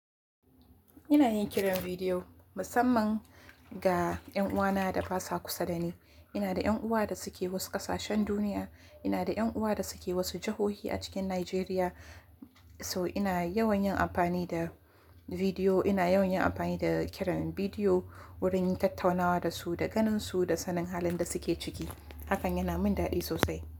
Ina yin kiran bidiyo musamman ga 'yan uwana da ba sa kusa da ni. Ina da 'yan uwa da suke wasu ƙasashen duniya. Ina da 'yan uwa da suke wasu jihohi a cikin Najeriya. So ina yawan yin amfani da bidiyo, ina yawan yin amfani da kiran bidiyo wurin yin tattaunawa da su, da ganinsu, da sanin halin da suke ciki. Hakan yana min daɗi sosai.